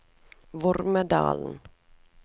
Vormedal